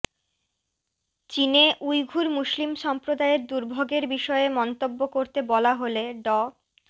চীনে উইঘুর মুসলিম সম্প্রদায়ের দুর্ভোগের বিষয়ে মন্তব্য করতে বলা হলে ড